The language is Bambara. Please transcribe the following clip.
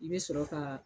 I bɛ sɔrɔ ka